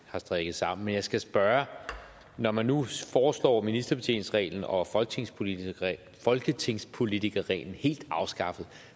har strikket sammen men jeg skal spørge når man nu foreslår ministerbetjeningsreglen og folketingspolitikerreglen folketingspolitikerreglen helt afskaffet